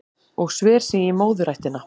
Og sver sig í móðurættina